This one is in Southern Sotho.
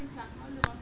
ha a se a le